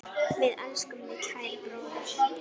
Við elskum þig, kæri bróðir.